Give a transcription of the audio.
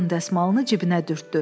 Burun dəsmalını cibinə dürtdü.